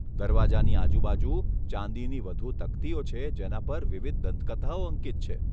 દરવાજાની આજુબાજુ ચાંદીની વધુ તકતીઓ છે જેના પર વિવિધ દંતકથાઓ અંકિત છે.